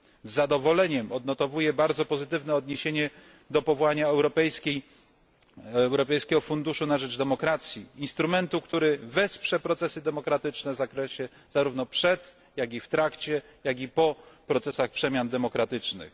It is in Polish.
Z zadowoleniem odnotowuję bardzo pozytywne odniesienie do powołania Europejskiego Funduszu na rzecz Demokracji instrumentu, który wesprze procesy demokratyczne zarówno przed, w trakcie, jak i po procesach przemian demokratycznych.